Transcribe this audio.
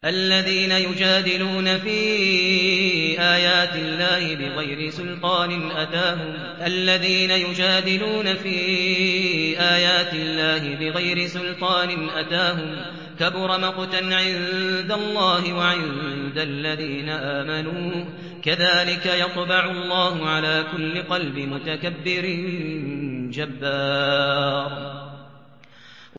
الَّذِينَ يُجَادِلُونَ فِي آيَاتِ اللَّهِ بِغَيْرِ سُلْطَانٍ أَتَاهُمْ ۖ كَبُرَ مَقْتًا عِندَ اللَّهِ وَعِندَ الَّذِينَ آمَنُوا ۚ كَذَٰلِكَ يَطْبَعُ اللَّهُ عَلَىٰ كُلِّ قَلْبِ مُتَكَبِّرٍ جَبَّارٍ